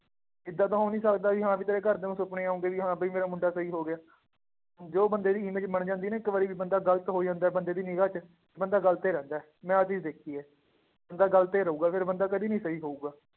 ਏਦਾਂ ਤਾਂ ਹੋ ਨੀ ਸਕਦਾ ਵੀ ਹਾਂ ਵੀ ਤੇਰੇ ਘਰਦਿਆਂ ਨੂੰ ਸੁਪਨੇ ਆਉਂਦੇ ਵੀ ਹਾਂ ਵੀ ਮੇਰਾ ਮੁੰਡਾ ਸਹੀ ਹੋ ਗਿਆ, ਜੋ ਬੰਦੇ ਦੀ image ਬਣ ਜਾਂਦੀ ਹੈ ਨਾ ਇੱਕ ਵਾਰੀ ਵੀ ਬੰਦਾ ਗ਼ਲਤ ਹੋ ਜਾਂਦਾ ਹੈ, ਬੰਦੇ ਨੀ ਨਿਗ੍ਹਾ ਚ ਬੰਦਾ ਗ਼ਲਤ ਹੀ ਰਹਿੰਦਾ ਹੈ, ਮੈਂ ਆਹ ਚੀਜ਼ ਦੇਖੀ ਹੈ, ਬੰਦਾ ਗ਼ਲਤ ਹੀ ਰਹੇਗਾ, ਫਿਰ ਬੰਦੇ ਕਦੇ ਨੀ ਸਹੀ ਹੋਊਗਾ,